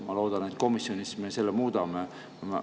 Ma loodan, et komisjonis me muudame selle ära.